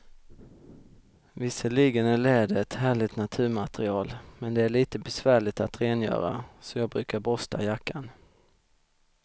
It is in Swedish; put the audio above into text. Visserligen är läder ett härligt naturmaterial, men det är lite besvärligt att rengöra, så jag brukar borsta jackan.